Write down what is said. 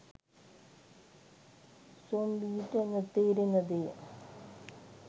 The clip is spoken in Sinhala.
සොම්බි ට නොතේරෙන දෙය.